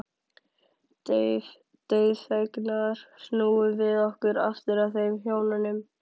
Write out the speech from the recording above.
Dauðfegnar snúum við okkur aftur að þeim hjónum.